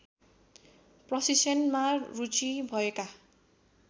प्रशिक्षणमा रुचि भएका